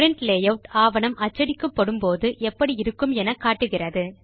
print layout ஆவணம் அச்சடிக்கப்படும் போது எப்படி இருக்கும் என காட்டுகிறது